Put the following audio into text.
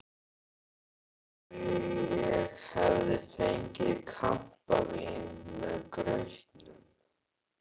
Eins og ég hefði fengið kampavín með grautnum.